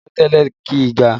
Pẹ̀tẹ́lẹ̀ kìí ga